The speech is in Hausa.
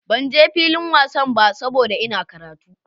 Ban je filin wasan ba saboda Ina karatu.